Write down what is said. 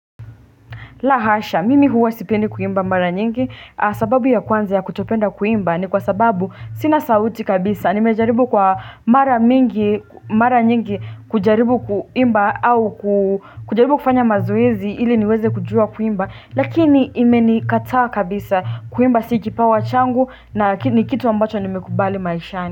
La hasha mimi huwa sipendi kuimba mara nyingi sababu ya kwanza ya kutopenda kuimba ni kwa sababu sina sauti kabisa nimejaribu kwa mara mingi mara nyingi kujaribu kuimba au kujaribu kufanya mazoezi ili niweze kujua kuimba lakini imenikataa kabisa kuimba si kipawa changu na ni kitu ambacho nimekubali maishani.